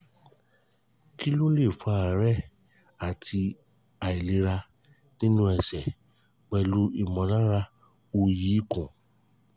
kí ló ń fa aare àti àìlera nínú ẹsẹ̀ pelu imolara oyi ikun?